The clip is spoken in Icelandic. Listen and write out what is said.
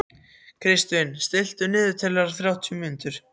Kristvin, stilltu niðurteljara á þrjátíu mínútur.